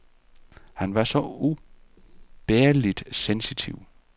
Han var så ubærligt sensitiv.